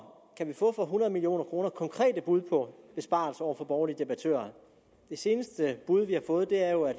kan vi få for hundrede million kroner konkrete bud på besparelser over for borgerlige debattører det seneste bud vi har fået er jo